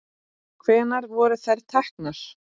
Hvenær voru þær teknar?